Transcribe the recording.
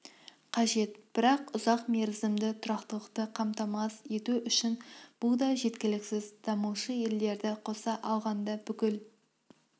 қажет бірақ ұзақмерзімді тұрақтылықты қамтамасыз ету үшін бұл да жеткіліксіз дамушы елдерді қоса алғанда бүкіл